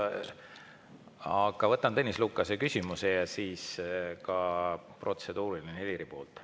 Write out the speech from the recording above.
Aga võtan Tõnis Lukase küsimuse ja siis ka protseduuriline Helirilt.